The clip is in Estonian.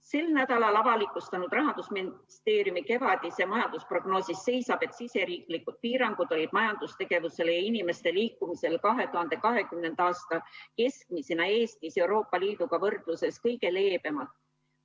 Sel nädalal avalikustatud Rahandusministeeriumi kevadises majandusprognoosis seisab, et riigisisesed piirangud majandustegevusele ja inimeste liikumisele olid 2020. aasta keskmisena Eestis Euroopa Liiduga võrdluses kõige leebemad.